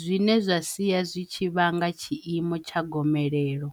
zwine zwa sia zwi tshi vhanga tshiimo tsha gomelelo.